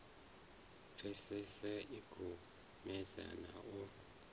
pfesese i khomese na u